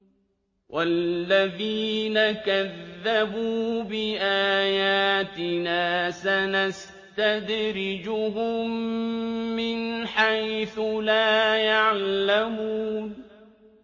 وَالَّذِينَ كَذَّبُوا بِآيَاتِنَا سَنَسْتَدْرِجُهُم مِّنْ حَيْثُ لَا يَعْلَمُونَ